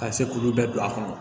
Ka se k'olu bɛɛ don a kɔnɔ